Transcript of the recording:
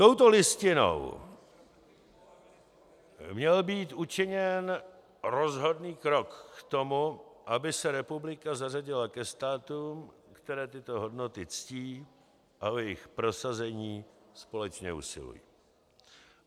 Touto Listinou měl být učiněn rozhodný krok k tomu, aby se republika zařadila ke státům, které tyto hodnoty ctí a o jejich prosazení společně usilují.